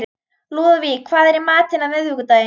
Lúðvík, hvað er í matinn á miðvikudaginn?